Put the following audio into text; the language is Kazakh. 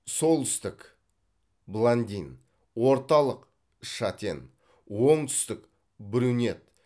солтүстік блондин орталық шатен оңтүстік брюнет